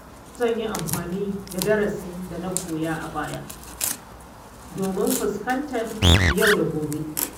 Yau zan yi amfani da darasin da na koya a baya domin fuskantar yau da gobe.